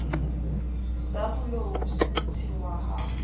se bolou se ntshiwa ha